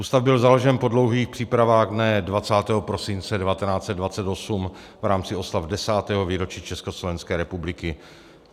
Ústav byl založen po dlouhých přípravách dne 20. prosince 1928 v rámci oslav 10. výročí Československé republiky.